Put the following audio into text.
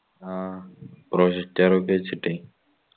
ആ projector ഒക്കെ വെച്ചിട്ടേയ്യ്